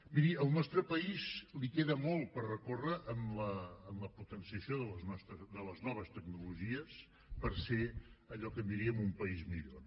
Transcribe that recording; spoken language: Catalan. miri al nostre país li queda molt per recórrer en la potenciació de les noves tecnologies per ser allò que en diríem un país millor